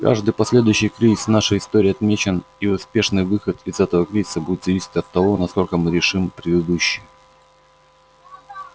каждый последующий кризис в нашей истории отмечен и успешный выход из этого кризиса будет зависеть от того насколько мы решим предыдущий